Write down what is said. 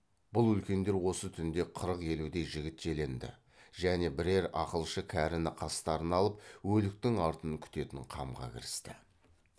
бұл үлкендер осы түнде қырық елудей жігіт желеңді және бірер ақылшы кәріні қастарына алып өліктің артын күтетін қамға кірісті